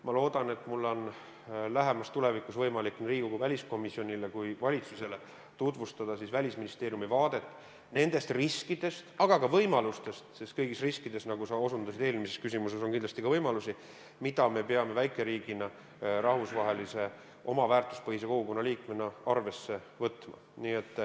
Ma loodan, et mul on lähemas tulevikus võimalik nii Riigikogu väliskomisjonile kui ka valitsusele tutvustada Välisministeeriumi vaadet nendest riskidest – aga ka võimalustest, sest kõigis riskides, nagu sa osutasid eelmises küsimuses, on kindlasti ka võimalusi –, mida me peame väikeriigina rahvusvahelise oma väärtuspõhise kogukonna liikmena arvesse võtma.